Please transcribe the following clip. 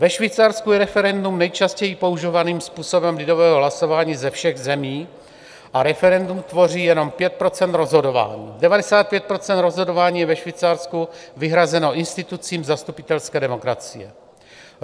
Ve Švýcarsku je referendum nejčastěji používaným způsobem lidového hlasování ze všech zemí a referendum tvoří jenom 5 % rozhodování, 95 % rozhodování je ve Švýcarsku vyhrazeno institucím zastupitelské demokracie.